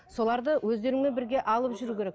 соларды өздеріңмен бірге алып жүру керек